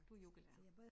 Du er yogalærer